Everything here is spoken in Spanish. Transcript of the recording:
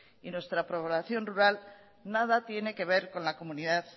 y nuestra población rural nada tiene que ver con la comunidad